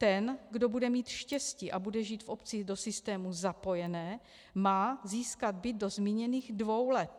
Ten, kdo bude mít štěstí a bude žít v obci do systému zapojené, má získat byt do zmíněných dvou let.